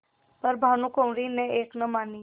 पर भानुकुँवरि ने एक न मानी